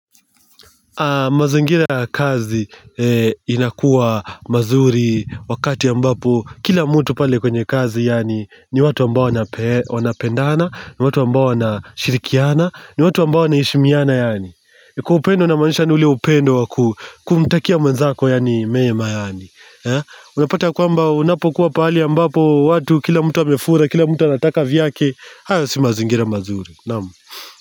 Mazingira ya kazi inakuwa mazuri wakati ambapo kila mtu pale kwenye kazi yaani ni watu ambao wanapendana, ni watu ambao wanashirikiana, ni watu ambao wanishimiana yaani Kwa upendo namaanisha ni ule upendo wa kumtakia mwenzako yaani mema yaani Unapata ya kwamba unapokuwa pali ambapo watu kila mtu amefura, kila mtu anataka vyake, hayo si mazingira mazuri, naam.